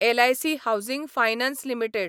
LIC housing finance limited